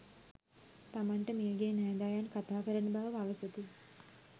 තමන්ට මියගිය නෑදෑයන් කථාකරන බව පවසති.